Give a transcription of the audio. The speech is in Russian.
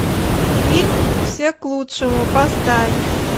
фильм все к лучшему поставь